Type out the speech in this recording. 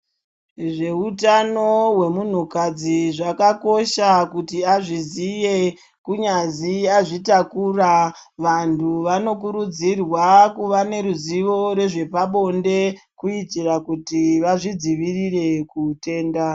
Zveutano hwemunhukadzi zvakakosha kuti azviziye kunyazi azvitakura. Vantu vanokurudzirwa kuva neruzivo rezvepabonde, kuitira kuti vazvidzivirire kuutenda.